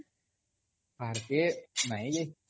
ବାହାର୍ କେ? ନାଇଁ